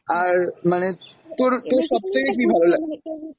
আর মানে তোর তোর সবথেকে কী ভালো লা।